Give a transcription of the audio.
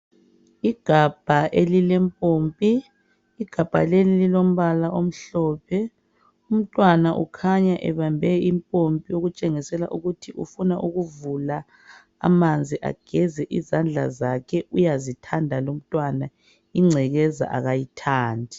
Igabha elilempompi igabha leli lilombala omhlophe umntwana ukhanya ebambe impompi okutshengisela ukuthi ufuna ukuvula amanzi ageze izandla zakhe uyazithanda lumntwana ingcekeza akayithandi.